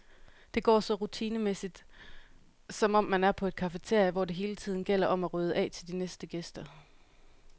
Det går så rutinemæssigt, som om man er på et cafeteria, hvor det hele tiden gælder om at rydde af til de næste gæster.